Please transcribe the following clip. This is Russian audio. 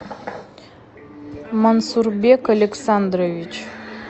мансурбек александрович